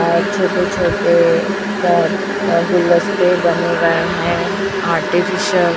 और छोटे छोटे अह अह गुलदस्ते बने गए हैं आर्टिफिशियल --